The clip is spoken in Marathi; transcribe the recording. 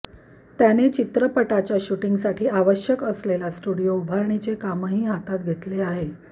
त्याने चित्रपटाच्या शूटींगसाठी आवश्यक असलेला स्टुडियो उभारणीचे कामही हातात घेतले आहे